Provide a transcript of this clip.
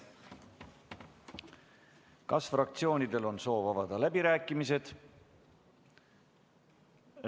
Kas fraktsioonidel on soov avada läbirääkimised?